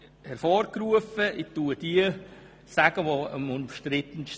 Ich komme zu den umstrittensten: